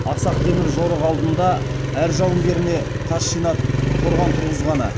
ақсақ темір жорық алдында әр жауынгеріне тас жинатып қорған тұрғызғаны